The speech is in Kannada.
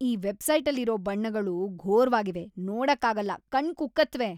ಈ ವೆಬ್‌ಸೈಟಲ್ಲಿರೋ ಬಣ್ಣಗಳು ಘೋರ್‌ವಾಗ್ವಿವೆ..ನೋಡಕ್ಕಾಗಲ್ಲ.. ಕಣ್ಣ್‌ ಕುಕ್ಕತ್ವೆ.